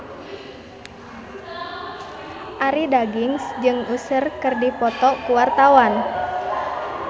Arie Daginks jeung Usher keur dipoto ku wartawan